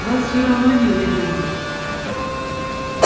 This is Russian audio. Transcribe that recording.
вас всё равно не выберут